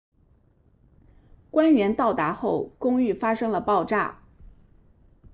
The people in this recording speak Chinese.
官员到达后公寓发生了爆炸